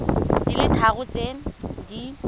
di le tharo tse di